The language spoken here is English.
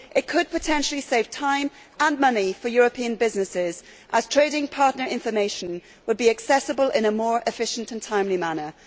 It could potentially save time and money for European businesses as trading partner information would be accessible in a more efficient and timely manner.